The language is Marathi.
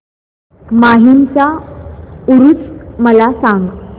माहीमचा ऊरुस मला सांग